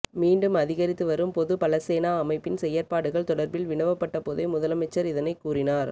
மீண்டும் அதிகரித்து வரும் பொதுபலசேனா அமைப்பின்செயற்பாடுகள் தொடர்பில் வினவப்பட்டபோதே முதலமைச்சர் இதனைக் கூறினார்